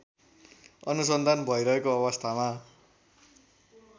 अनुसन्धान भइरहेको अवस्थामा